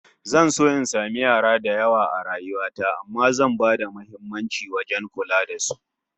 Zan so in samu yara da yawa a rayuwa ta amma zan bada muhimmanci wajen kula da su